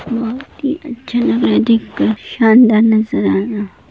बहुत ही अच्छा लग रहा है देख कर शानदार नज़ारा।